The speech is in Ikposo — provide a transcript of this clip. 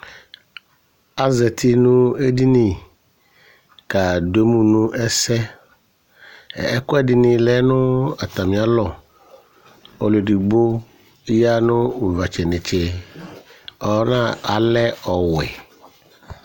Azati nʋ eɖini ƙa ɖʋ emu nʋ ɛsɛƐƙʋɛɖɩnɩ lɛ nʋ atamɩalɔƆlʋ eɖigbo ƴa nʋ ʋvatsɛnetseAlɛ ɔwɛ